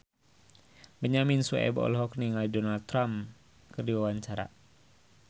Benyamin Sueb olohok ningali Donald Trump keur diwawancara